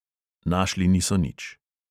Našli niso nič.